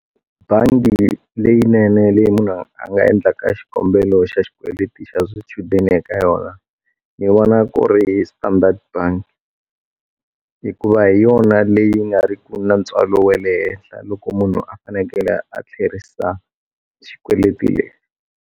Bangi leyinene leyi munhu a nga endlaka xikombelo xa xikweleti xa swichudeni eka yona ni vona ku ri Standard bank hikuva hi yona leyi nga ri ku na ntswalo wa le henhla loko munhu a fanekele a tlherisa xikweleti le.